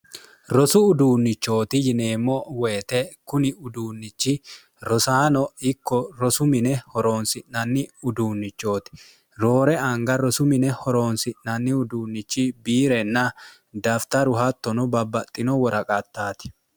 rosu uduunnichooti yineemmo woyite kuni uduunnichi rosaano ikko rosu mine horoonsi'nanni uduunnichooti roore anga rosu mine horoonsi'nanni uduunnichi biirenna dafitaru hattono babbaxxino woraqattaati